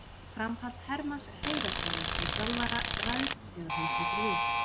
Framhald Hermanns Hreiðarssonar sem þjálfara ræðst þegar hún tekur við.